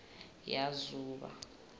yazuba